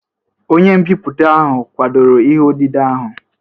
Onye mbipụta ahụ kwadoro ihe odide ahụ?